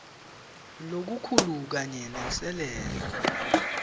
lokukhulu kanye nenselela